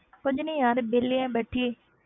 ਕੁੱਝ ਨੀ ਯਾਰ ਵਿਹਲੀ ਹਾਂ ਬੈਠੀ।